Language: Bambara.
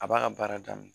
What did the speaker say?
A b'a ka baara daminɛ